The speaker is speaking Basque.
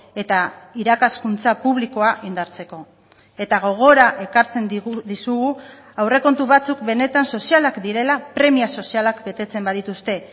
eta irakaskuntza publikoa indartzeko eta gogora ekartzen dizugu aurrekontu batzuk benetan sozialak direla premia sozialak betetzen badituzte